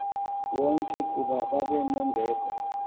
wonke kuba babenembeko